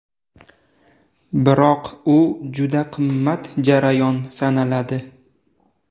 Biroq u juda qimmat jarayon sanaladi.